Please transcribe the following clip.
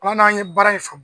min na an ye baara in faamu.